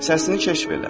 Səsini kəşf elə.